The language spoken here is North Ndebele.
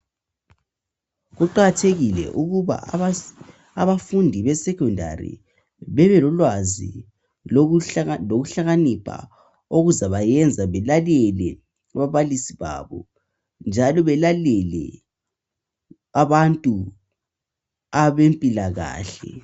Kuqakathekile ukuba abafundi besecondary bebelolwazi lokuhlakanipha okuzabayenza belalele ababalisi babo njalo belalele abantu abempilakahle.